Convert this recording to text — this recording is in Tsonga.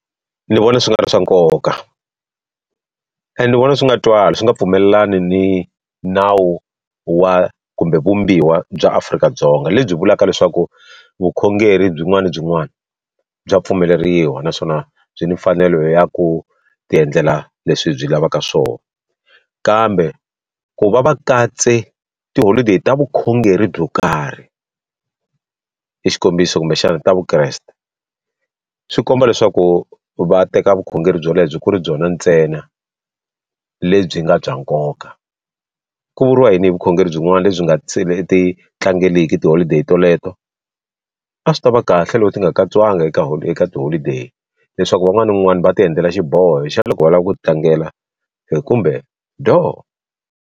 Ni vona swi nga ri swa nkoka and ni vona swi nga twali swi nga pfumelelani ni nawu wa kumbe vumbiwa bya Afrika-Dzonga lebyi vulaka leswaku vukhongeri byin'wana ni byin'wana bya pfumeleriwa naswona byi ni mfanelo ya ku ti endlela leswi byi lavaka swona kambe ku va va katse tiholodeyi ta vukhongeri byo karhi i xikombiso kumbexana ta vukreste swi komba leswaku va teka vukhongeri byo lebyi ku ri byona ntsena lebyi nga bya nkoka ku vuriwa yini hi vukhongeri byin'wana lebyi nga se ti tlangeleki tiholideyi toleto a swi tava kahle loko ti nga katsiwanga eka eka tiholideyi leswaku van'wana na van'wana va ti endlela xiboho xa loko va lava ku ti tlangela kumbe doo.